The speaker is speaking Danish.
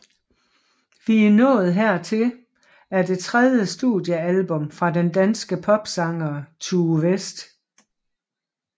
Vi er nået hertil er det tredje studiealbum fra den danske popsanger Tue West